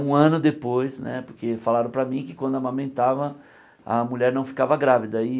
Um ano depois né, porque falaram para mim que quando amamentava, a mulher não ficava grávida.